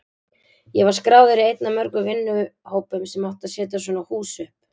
Ég var skráður í einn af mörgum vinnuhópum sem átti að setja svona hús upp.